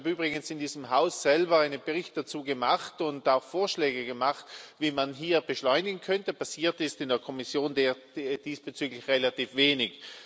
Ich habe übrigens in diesem Haus selber einen Bericht dazu gemacht und auch Vorschläge gemacht, wie man hier beschleunigen könnte. Passiert ist in der Kommission diesbezüglich relativ wenig.